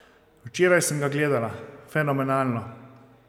Včeraj sem ga gledala, fenomenalno ...